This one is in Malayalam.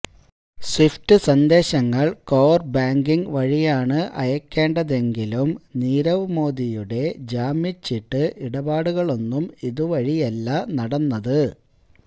സ്വിഫ്റ്റ് സന്ദേശങ്ങള് കോര് ബാങ്കിങ് വഴിയാണ് അയക്കേണ്ടതെങ്കിലും നീരവ് മോദിയുടെ ജാമ്യച്ചീട്ട് ഇടപാടുകളൊന്നും ഇതുവഴിയല്ല നടന്നത്